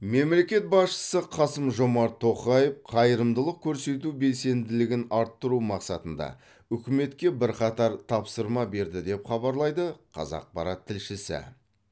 мемлекет басшысы қасым жомарт тоқаев қайырымдылық көрсету белсенділігін арттыру мақсатында үкіметке бірқатар тапсырма берді деп хабарлайды қазақпарат тілшісі